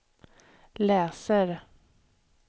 läser